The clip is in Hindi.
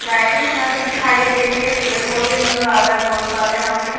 लाइटिंग हमें यहाँ पे दिखाई दे रही है पेड़-पौधे नजर आ रहे है बहुत सारे यहाँ पे।